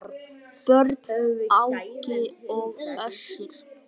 Börn: Áki og Össur.